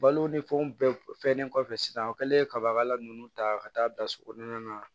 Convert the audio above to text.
Balo ni fɛnw bɛɛ fɛnnen kɔfɛ sisan o kɛlen kabakala ninnu ta ka taa bila so kɔnɔna na